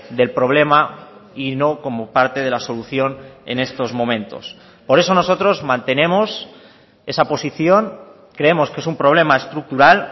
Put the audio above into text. del problema y no como parte de la solución en estos momentos por eso nosotros mantenemos esa posición creemos que es un problema estructural